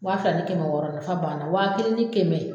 Waa fila ni kɛmɛ wɔɔrɔ nafa b'a la waa kelen ni kɛmɛ